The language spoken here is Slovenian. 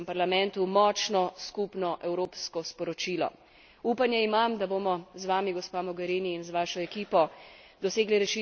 Upanje imam, da bomo z vami gospa Mogherini, z vašo ekipo, dosegli rešitev dveh držav in njuno medsebojno priznanje.